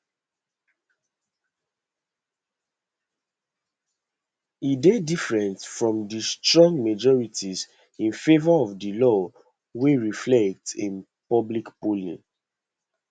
e dey different from di strong majorities in favour of di law wey reflect in public polling